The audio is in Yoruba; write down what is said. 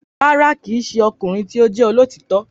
Rárá, kì í ṣe ọkùnrin tí ó jẹ́ olóòótọ́